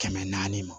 Kɛmɛ naani ma